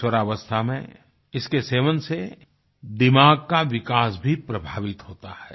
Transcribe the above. किशोरावस्था में इसके सेवन से दिमाग का विकास भी प्रभावित होता है